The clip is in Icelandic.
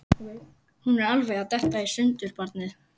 Hún er alveg að detta í sundur, barnið.